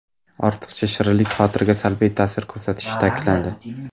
Ortiqcha shirinlik xotiraga salbiy ta’sir ko‘rsatishi ta’kidlandi.